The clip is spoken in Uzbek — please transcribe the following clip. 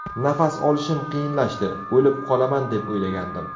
Nafas olishim qiyinlashdi, o‘lib qolaman deb o‘ylagandim.